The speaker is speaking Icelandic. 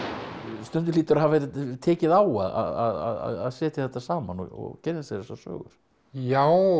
stundum hlýtur að hafa tekið á að setja þetta saman og kynna sér þessa sögur já